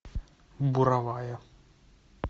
буровая